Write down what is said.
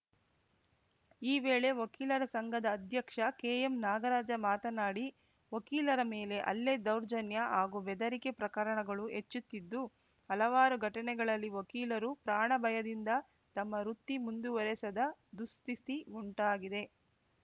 ಈ ವೇಳೆ ವಕೀಲರ ಸಂಘದ ಅಧ್ಯಕ್ಷ ಕೆಎಂನಾಗರಾಜ ಮಾತನಾಡಿ ವಕೀಲರ ಮೇಲೆ ಹಲ್ಲೆ ದೌರ್ಜನ್ಯ ಹಾಗೂ ಬೆದರಿಕೆ ಪ್ರಕರಣಗಳು ಹೆಚ್ಚುತ್ತಿದ್ದು ಹಲವಾರು ಘಟನೆಗಳಲ್ಲಿ ವಕೀಲರು ಪ್ರಾಣ ಭಯದಿಂದ ತಮ್ಮ ವೃತ್ತಿ ಮುಂದುವರೆಸದ ದುಸ್ಥಿತಿ ಉಂಟಾಗಿದೆ